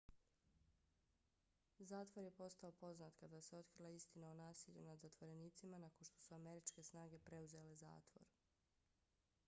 zatvor je postao poznat kada se otkrila istina o nasilju nad zatvorenicima nakon što su američke snage preuzele zatvor